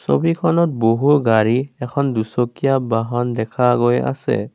ছবিখনত বহু গাড়ী এখন দুচকীয়া বাহন দেখা গৈ আছে।